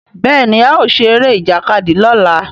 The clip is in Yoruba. Béèni ao ṣe Eré Ìjàkadì lọla.